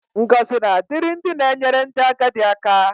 Ngọzi na-adịrị ndị na-enyere ndị agadi aka.